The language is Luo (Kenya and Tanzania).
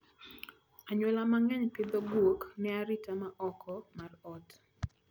Anyuola mang'eny pidho guok ne arita ma oko mar ot.